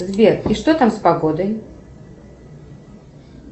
сбер и что там с погодой